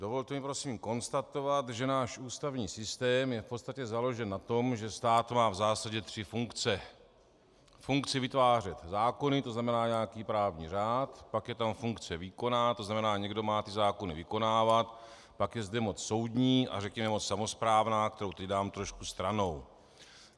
Dovolte mi prosím konstatovat, že náš ústavní systém je v podstatě založen na tom, že stát má v zásadě tři funkce - funkci vytvářet zákony, to znamená nějaký právní řád, pak je tam funkce výkonná, to znamená někdo má ty zákony vykonávat, pak je zde moc soudní a řekněme moc samosprávná, kterou teď dám trošku stranou.